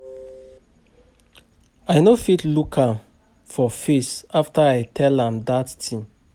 I no fit look am for face after I tell am dat thing